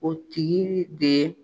O tigi de ye